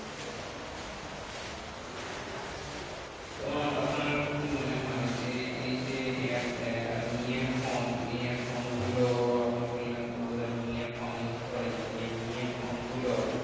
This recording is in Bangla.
তো আপনার কি মনে হয়? যে এই যে নিয়ের ফোন নিয়ের ফোনগুলো আপনি বললেন তো বোধহয় নিয়ের ফোন use করেন। তো এই নিয়ের ফোন গুলো